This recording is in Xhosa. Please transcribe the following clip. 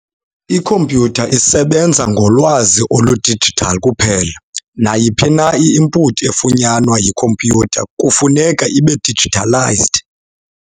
Iikhompyutha isebenza ngolwazi olu-digital kuphela, nayiphi na i-input efunyanwa yikhompyutha kufuneka ibe-digitalised.